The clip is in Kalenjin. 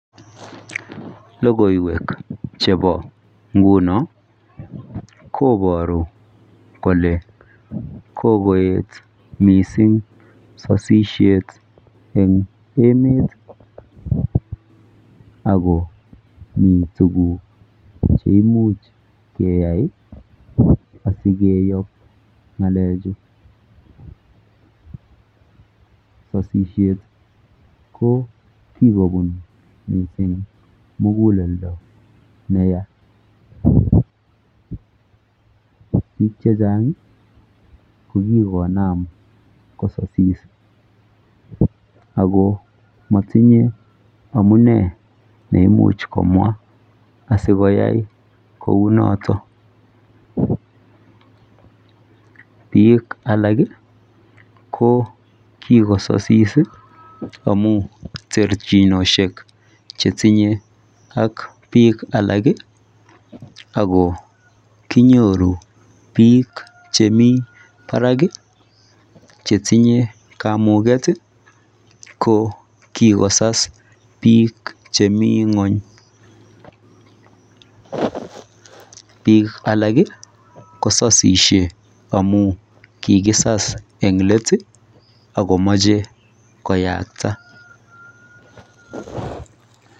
Logoiwek chepo nguno koporu kole kokoet mising sasishet eng emet akomi tuguk cheimuch keyai asikeyop ng'alechu, sosishet ko kikobun mising muguleldo neya. Biik chechang ko kikonam kososis ako matinye amune neimuch komwa asikoyai kounoto. Biik alak ko kikososis amu terchuinoshek chetinye ak biik alak ako kinyoru biik chemi barak chetinye kamuket ko kikosas biik chemi ng'uny. Biik alak kososishe amu kikisas eng let akomoche koyakta.